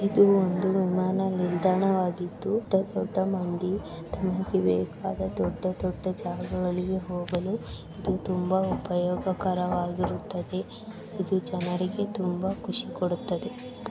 ಒಂದು ವಿಮಾನ ನಿಲ್ದಾಣವಾಗಿದ್ದು ದೊಡ್ಡ ದೊಡ್ಡ ಮಂದಿ ತಮಗೆ ಬೇಕಾದ ದೊಡ್ಡ ದೊಡ್ಡ ಜಾಗಗಳಿಗೆ ಹೋಗಲು ಇದು ತುಂಬಾ ಉಪಯೋಗಕರವಾಗಿರುತ್ತದೆ. ಇದು ಜನರಿಗೆ ತುಂಬಾ ಖುಷಿ ಕೊಡುತ್ತದೆ.